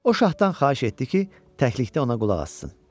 O şahdan xahiş etdi ki, təklikdə ona qulaq assın.